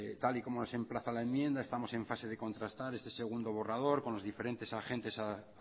tal y como se emplaza la enmienda estamos en fase de contrastar este segundo borrador con los diferentes agentes